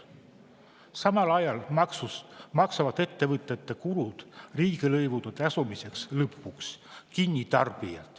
Samal ajal maksavad ettevõtjate kulud lõpuks kinni tarbijad riigilõivude tasumisega.